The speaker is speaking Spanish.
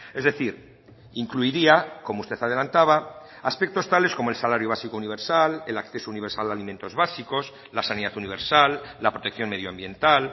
es decir incluiría como usted adelantaba aspectos tales como el salario básico universal el acceso universal a alimentos básicos la sanidad universal la protección medioambiental